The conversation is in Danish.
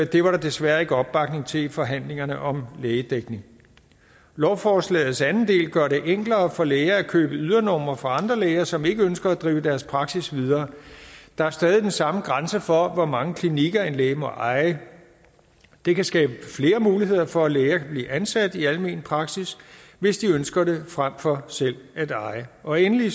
det var der desværre ikke opbakning til i forhandlingerne om lægedækning lovforslagets anden del gør det enklere for læger at købe ydernumre fra andre læger som ikke ønsker at drive deres praksis videre der er stadig den samme grænse for hvor mange klinikker en læge må eje det kan skabe flere muligheder for at læger kan blive ansat i almen praksis hvis de ønsker det frem for selv at eje og endelig